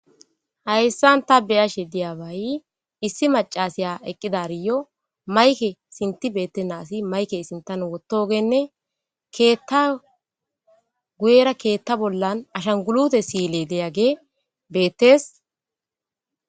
hayssan ta beyashe diyabaay issi macasiya eqqidariyo mayke sinti bettenasi mayke sintan wottogenne keetta guyera keetta bollan ashangulute siile deyage beettes